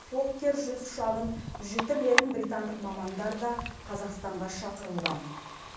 фоккер жүз ұшағын жіті білетін британдық мамандар да қазақстанға шақырылған